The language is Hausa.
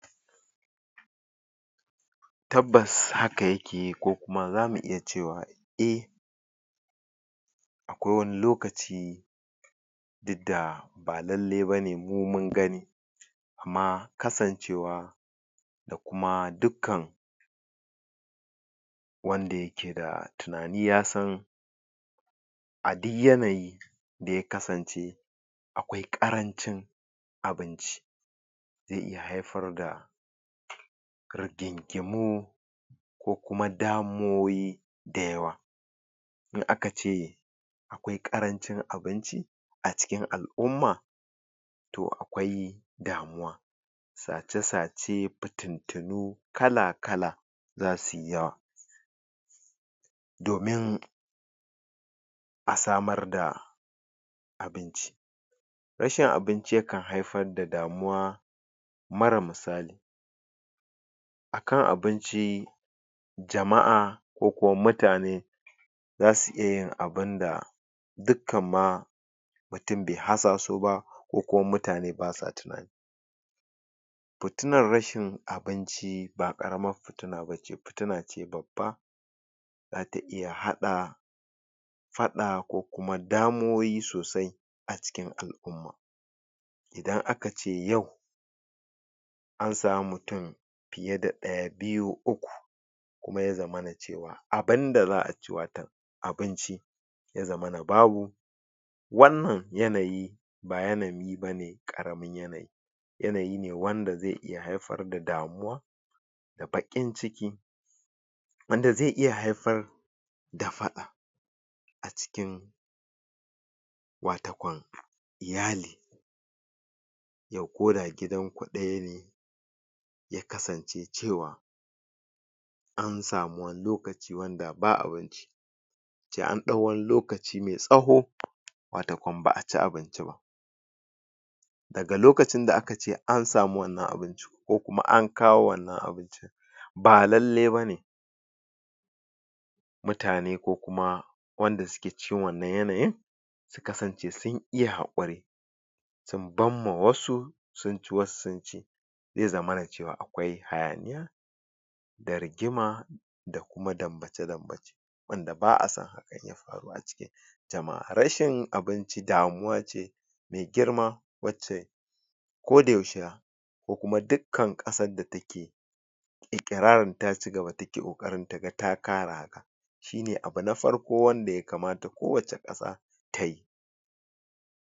tabbas haka yake kokuma zamu iya cewa a akwai wani lokaci duk da ba lalle bane mu mun gani aamma kasancewa dakuma dukkan wanda yakeda tunani yasan adi yanayi daya kasance akwai ƙaranci abanci ze iya haifarda rigingimu kokuma damuwowi dayawa in akace wai ƙarancin abinci acikin al'umma to akwai damuwa sace sace fitittunu kala kala zasuyi yawa domin asamarda abinci rashin abinci yaakan haifarda damuwa mara misali akan abinci jama'a ko kuma mutane zasu iyayin abunda dukkan ma mutum be haza su ba kokuma mutane basawa tunani batuna rashin abinci ba karamar fitina bace fitana ce babba zata iya haɗa faɗa ko kuma damuwowi sosai acikin al'umma idan akace yau an samu mutum fiya da daya, biyu, uku kuma yazamana cewa abunda za'aci abunci ya zamana babu wannan yanayi ba yanayi bane karamar yanayi yanayi ne wanda ze iya haifar da damuwa da bakin ciki wanda ze iya haifar dafada acikin iyali ya koda gidanku dayane ya kasance cewa an samu wani lokaci wanda ba abunci ce an ɗau wani lokaci mai tsaho wato banba aci abinciba daga lokacinda akace an samu wannan abun ko kuma an kawo wannan abu ba lallai bane mutane kokuma wanda suke cikin wannan yanayi kasance sun iya hakuri sun bamma wasu sunci wasu sunci ze zamana cewa akwai hayaniya da rigima da kuma dambace dambace wanda ba'a son haka daya faru aciki jama'a rashin abinci damuwa ce mai girma koda yaushe ko kuma dukkan kasar da take ikirarin ta cigaba take kokarin ta ga kara shine abu na farko wanda ya kamata kowace kasa tayi